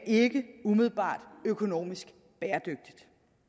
umiddelbart økonomisk bæredygtigt